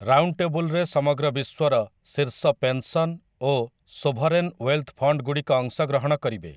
ରାଉଣ୍ଡଟେବୁଲରେ ସମଗ୍ର ବିଶ୍ୱର ଶୀର୍ଷ ପେନସନ ଓ ସୋଭରେନ ୱେଲଥ ଫଣ୍ଡଗୁଡ଼ିକ ଅଂଶଗ୍ରହଣ କରିବେ ।